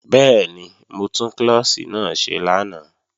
Bẹ́ẹ̀ni, mo tún klọ́ọ̀ṣì náà ṣe lánàá